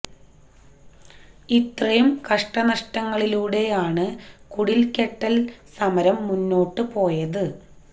ഇത്രയും കഷ്ടനഷ്ടങ്ങളിലൂടെ ആണ് കുടില് കെട്ടല് സമരം മുന്നോട്ട് പോയത്